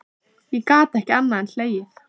Ég gat ekki annað en hlegið.